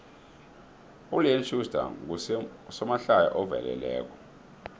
uleon schuster ngusomahlaya oveleleko